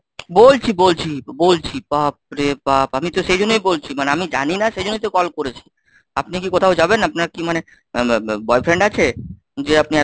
বলছি বলছি বলছি বলছি বাপরে বাপ আমি তো সেই জন্যই বলছি মানে আমি জানিনা সেই জন্যই তো call করেছি, আপনি কি কোথাও যাবেন আপনার কি মানে boyfriend আছে? যে আপনি!